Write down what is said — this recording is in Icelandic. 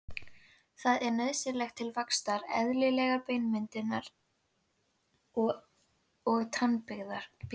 Það er nauðsynlegt til vaxtar, eðlilegrar beinmyndunar og tannbyggingar.